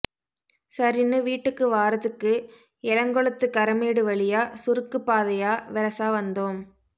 சரின்னு வீட்டுக்கு வாறதுக்கு எலங்கொளத்து கரமேடு வழியா சுருக்குப் பாதையா வெரசா வந்தோம்